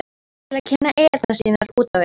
til að kynna eyjarnar sínar út á við?